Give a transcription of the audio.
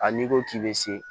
Hali n'i ko k'i bɛ se